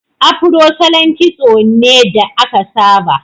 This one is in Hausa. Afro salon kitso ne da aka saba.